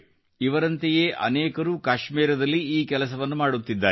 ಇವರಂತೆಯೇ ಅನೇಕರು ಕಾಶ್ಮೀರದಲ್ಲಿ ಈ ಕೆಲಸವನ್ನು ಮಾಡುತ್ತಿದ್ದಾರೆ